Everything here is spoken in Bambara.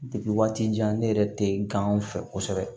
waati jan ne yɛrɛ tɛ ganw fɛ kosɛbɛ